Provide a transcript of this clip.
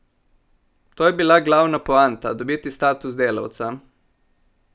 To je bila glavna poanta, dobiti status delavca.